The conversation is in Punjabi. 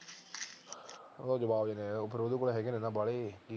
ਉਹ ਤਾਂ ਜਵਾਬ ਦੇਗਿਆ ਉਹ ਦੇ ਕੋਲ ਤਾਂ ਹੈਗੇ ਨੇ ਬਾਲੇ